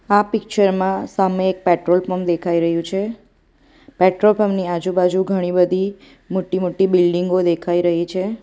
આ પિક્ચર માં સામે એક પેટ્રોલ પંપ દેખાઈ રહ્યું છે પેટ્રોલ પંપ ની આજુબાજુ ઘણી બધી મોટી-મોટી બિલ્ડીંગો દેખાઈ રહી છે.